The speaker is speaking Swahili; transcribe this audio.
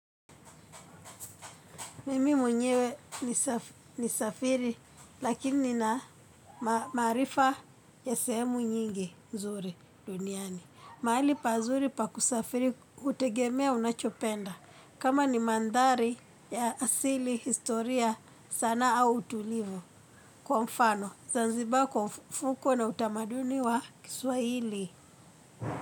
Mimi mwenyewe ni safiri lakini na maarifa ya sehemu nyingi nzuri duniani. Maali pazuri pakusafiri hutegemea unachopenda. Kama ni maandhari ya asili, historia sana au utulivu kwa mfano. Zanzibar kwa mfukwe na utamaduni wa kiswahili.